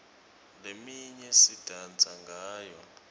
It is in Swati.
leminye sidansa ngayo